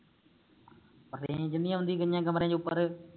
ਉਹ range ਨੀ ਆਉਦੀ ਕਈਆਂ ਕਮਰਿਆਂ ਵਿਚ ਉਪਰ